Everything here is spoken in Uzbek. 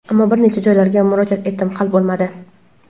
Ammo bir nechta joylarga murojaat etdim, hal bo‘lmadi.